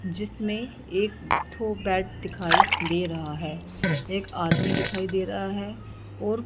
जिसमें एक ठो बैट दिखाई दे रहा है एक आदमी दिखाई दे रहा है और--